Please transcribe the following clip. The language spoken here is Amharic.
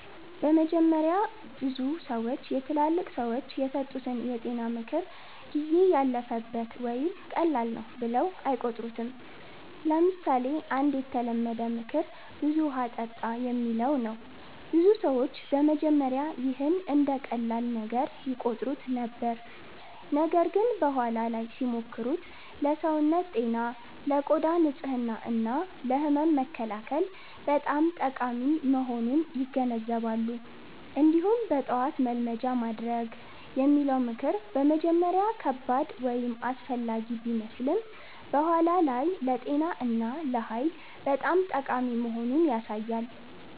በመጀመሪያ ብዙ ሰዎች የትላልቅ ሰዎች የሰጡትን የጤና ምክር “ጊዜ ያለፈበት” ወይም “ቀላል ነው” ብለው አይቆጥሩትም። ለምሳሌ አንድ የተለመደ ምክር “ብዙ ውሃ ጠጣ” የሚለው ነው። ብዙ ሰዎች በመጀመሪያ ይህን እንደ ቀላል ነገር ይቆጥሩት ነበር፣ ነገር ግን በኋላ ላይ ሲሞክሩት ለሰውነት ጤና፣ ለቆዳ ንጽህና እና ለህመም መከላከል በጣም ጠቃሚ መሆኑን ይገነዘባሉ። እንዲሁም “በጠዋት መልመጃ ማድረግ” የሚለው ምክር በመጀመሪያ ከባድ ወይም አላስፈላጊ ቢመስልም በኋላ ላይ ለጤና እና ለኃይል በጣም ጠቃሚ መሆኑን ያሳያል።